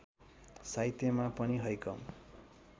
साहित्यमा पनि हैकम